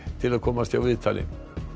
til að komast hjá viðtali